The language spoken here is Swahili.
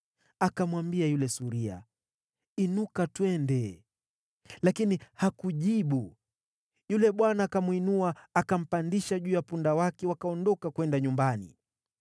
Akamwambia yule suria, “Inuka, twende.” Lakini hakujibu. Yule bwana akamwinua akampandisha juu ya punda wake, wakaondoka kwenda nyumbani.